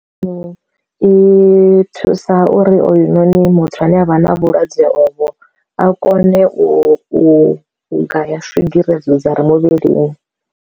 I thusa uri oyu noni muthu ane avha na vhulwadze ovho a kone u u u gaya swigiri edzo dza ri muvhilini.